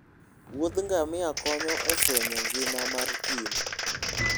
wuodh ngamia konyo e fwenyo ngima mar thim